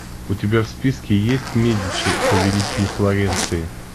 у тебя в списке есть медичи повелители флоренции